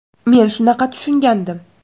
Men shunaqa deb tushungandim.